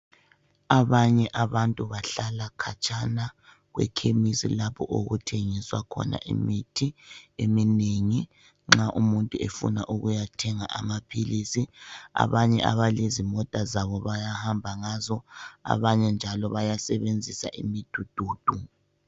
Abanye abantu bahlala khatshana kwekhemisi lapho okuthengiswa khona imithi eminengi, nxa umuntu efuna ukuyathenga amaphilisi, abanye abalezimota zabo bayahamba ngazo, abanye njalo bayasebenzisa imidududu.